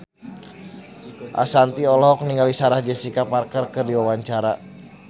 Ashanti olohok ningali Sarah Jessica Parker keur diwawancara